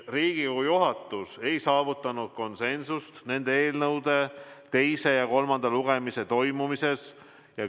Riigikogu juhatus ei saavutanud konsensust nende eelnõude teise ja kolmanda lugemise toimumise päevas.